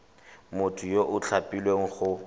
motho yo o tlhophilweng go